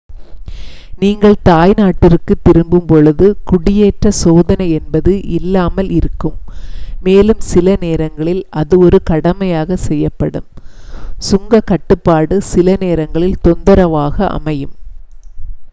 நீங்கள் தாய் நாட்டிற்கு திரும்பும் பொழுது குடியேற்ற சோதனை என்பது இல்லாமல் இருக்கும் மேலும் சில நேரங்களில் அது ஒரு கடமையாக செய்யப்படும் சுங்க கட்டுப்பாடு சில நேரங்களில் தொந்தரவாக அமையும்